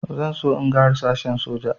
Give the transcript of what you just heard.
Zan so in ga harsashen soja